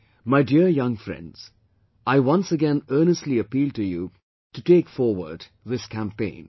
My dear young friends, I once again earnestly appeal to you to take forward this campaign